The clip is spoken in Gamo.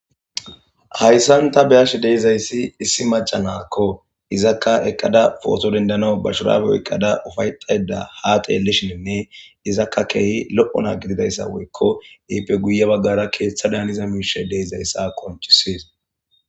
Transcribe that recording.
Hayssan ta beyash deizayssi issi maca naakko izakka eqqada pooto dendano ba shuraabeo eqqada ufayxayda ha xeellishininne izakka keehi lo'o naa gididayssa woykko iippe guye baggara keeththa daaniza miishe deizayssa konchisis.